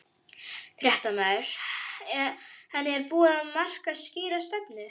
Fréttamaður: En er búið að marka skýra stefnu?